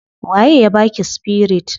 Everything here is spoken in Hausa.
Wa ye ya baki spirit?